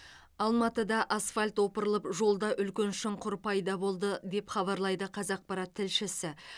алматыда асфальт опырылып жолда үлкен шұңқыр пайда болды деп хабарлайды қазақпарат тілшісі